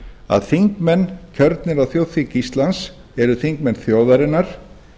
að þingmenn kjörnir á þjóðþing íslands eru þingmenn þjóðarinnar